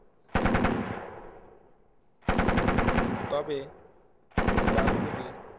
তবে গ্রামগুলি